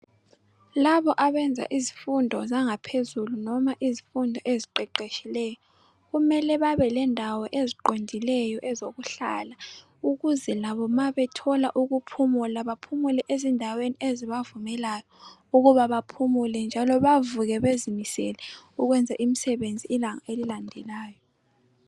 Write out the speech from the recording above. labo abenza izifundo zangaphezulu noma izifundo eziqeqetshileyo kumele babelendawo eziqondileyo ezokuhlala ukuze labo ma bethola ukuphumula baphumule ezindaweni ezibavumelayo ukuba baphumule njalo bavuke bezimisele ukwenzela imsebenzi ilanga elilandelayo